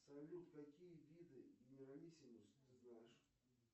салют какие виды генералиссимус ты знаешь